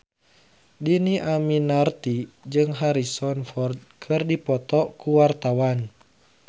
Dhini Aminarti jeung Harrison Ford keur dipoto ku wartawan